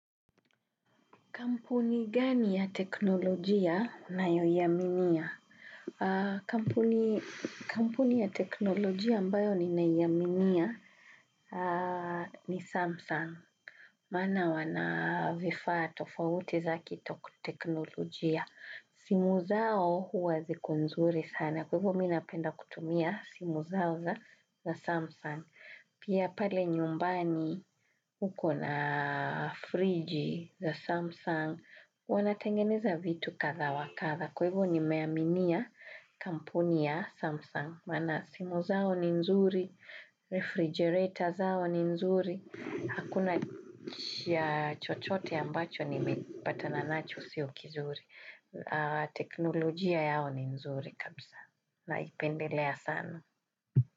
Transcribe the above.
Kampuni gani ya teknolojia ninayoiaminia? Kampuni ya teknolojia ambayo ninaiaminia ni Samsung. Maana wana vifaa tofauti za kiteknolojia. Simu zao huwa ziko nzuri sana. Kwa hivo mimi napenda kutumia simu zao za Samsung. Pia pale nyumbani uko na friji za Samsung. Wanatengeneza vitu kadha wa kadha kwa hivyo nimeaminia kampuni ya Samsung maana simu zao ni nzuri refrigerator zao ni nzuri hakuna chochote ambacho nimepatana nacho sio kizuri teknolojia yao ni nzuri kabisa naipendelea sana.